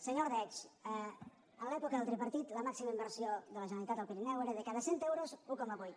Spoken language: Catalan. senyor ordeig en l’època del tripartit la màxima inversió de la generalitat al pirineu era de cada cent euros un coma vuit